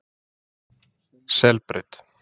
Selbraut